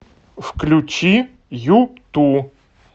включи юту